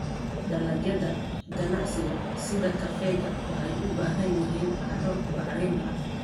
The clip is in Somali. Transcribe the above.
Dalagyada ganacsiga sida kafeega waxay u baahan yihiin carro bacrin ah.